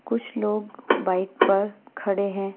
कुछ लोग बाइक पर खड़े हैं।